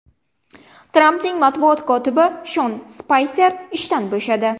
Trampning matbuot kotibi Shon Spayser ishdan bo‘shadi.